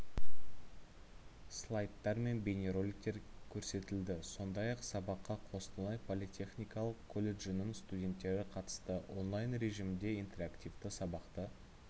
слайдтар мен бейнероликтер көрсетілді сондай-ақ сабаққа қостанай политехникалық колледжінің студенттері қатысты онлайн режимінде интерактивті сабақты